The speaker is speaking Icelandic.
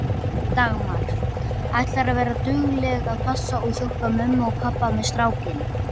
Dagmar: Ætlarðu að vera dugleg að passa og hjálpa mömmu og pabba með strákinn?